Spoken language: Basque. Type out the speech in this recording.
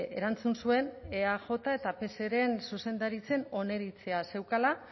erantzun zuen eaj eta pseren zuzendaritzen oniritzia zeukala